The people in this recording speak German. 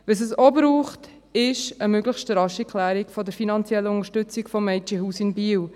Was es auch braucht, ist eine möglichst rasche Klärung der finanziellen Unterstützung des Mädchenhauses in Biel.